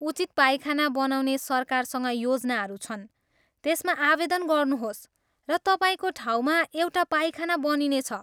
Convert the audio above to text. उचित पाइखाना बनाउने सरकारसँग योजनाहरू छन्, त्यसमा आवेदन गर्नुहोस् र तपाईँको ठाउँमा एउटा पाइखाना बनिने छ।